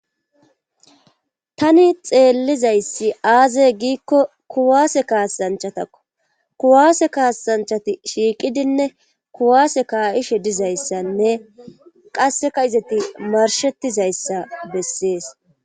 tani xeellizayssi aazey giikko kuwaase kaasanchatakko kuwaase kaassanchati shiiqidinne kuwaase kaa7ishe dizayssanne qasseka izeti marshettizayssa bessees